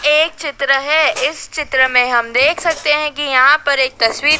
ये एक चित्र है इस चित्र में हम देख सकते है की यहां पर एक तस्वीर--